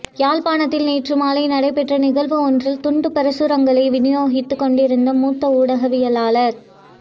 யாழ்ப்பாணத்தில் நேற்று மாலை நடைபெற்ற நிகழ்வு ஒன்றில் துண்டுப் பிரசுரங்களை விநியோகித்துக் கொண்டிருந்த மூத்த ஊடகவியலாளர்